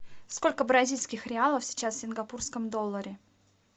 сколько бразильских реалов сейчас в сингапурском долларе